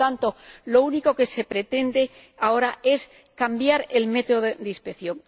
Por lo tanto, lo único que se pretende ahora es cambiar el método de inspección.